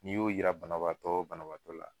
N'i y'o yira banabagatɔw banabaatɔ la